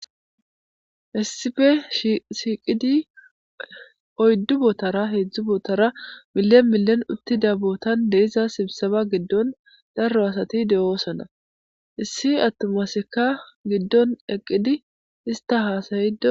Issippe shiiqidi oydu bootara heedzdzu bootara milen milen dida bootan de'iza sibiseba gidon daro asati de'osona. Issi atuma asakka gidon eqqidi ista haasayido.